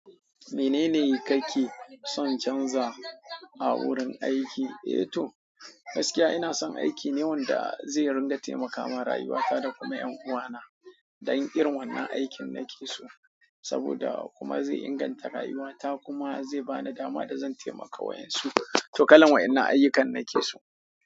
Menene kake son canza a wurin aiki? Eh to, gaskiya ina son aiki ne wanda zai ringa taimakama rayuwata da kuma ƴan uwana don irin wannan aikin nake so saboda kuma zai inganta rayuwata kuma zai bani dama da zan taimaka wa'yansu. To kalan wa'yannan ayyukan nake so.